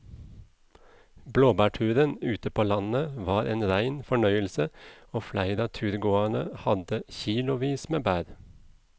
Blåbærturen ute på landet var en rein fornøyelse og flere av turgåerene hadde kilosvis med bær.